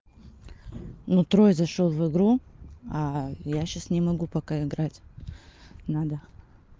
ну трой и зашёл в игру а я сейчас не могу пока играть надо